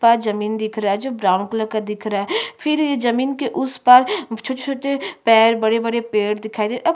उस पार जो जमीन दिख रहा है जो ब्राउन कलर का दिख रहा हैं फिर जमीन उस पार छोटे-छोटे पैर बड़े-बड़े पेड़ दिखाई दे रहे है।